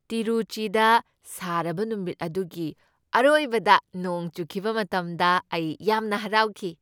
ꯇꯤꯔꯨꯆꯤꯗ ꯁꯥꯔꯕ ꯅꯨꯃꯤꯠ ꯑꯗꯨꯒꯤ ꯑꯔꯣꯏꯕꯗ ꯅꯣꯡ ꯆꯨꯈꯤꯕ ꯃꯇꯝꯗ ꯑꯩ ꯌꯥꯝꯅ ꯍꯔꯥꯎꯈꯤ꯫